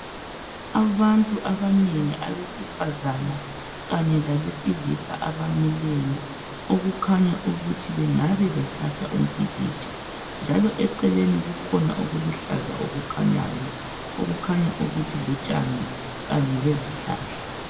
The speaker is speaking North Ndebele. Abantu abanengi abesifazana kanye labesilisa abamileyo okukhanya ukuthi kungabe bethatha umpikitsha njalo eceleni kukhona okuluhlaza okukhanyayo ukuthi lutshani kanye lezihlahla